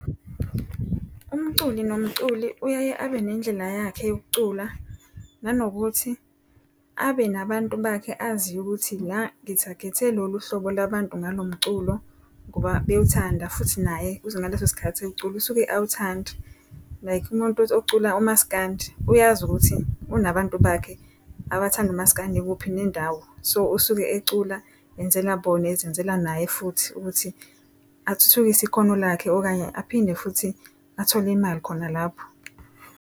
Umculi nomculi uyaye abe nendlela yakhe yokucula nanokuthi abe nabantu bakhe aziyo ukuthi la ngithagethe lolu hlobo labantu ngalo mculo, ngoba bewuthanda futhi naye uze ngaleso sikhathi ewucula usuke ewuthanda. Like umuntu ocula uMasikandi uyazi ukuthi unabantu bakhe abathanda uMasikandi kuphi nendawo. So usuke ecula enzela bona ezenzela naye futhi ukuthi athuthukise ikhono lakhe okanye aphinde futhi athole imali khona lapho.